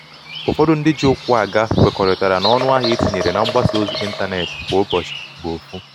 ụfọdụ ndị ji ukwu aga kwekoritara na ọnụahịa e tinyere na mgbasa ozi 'ịntanetị kwa ụbọchị bu ofu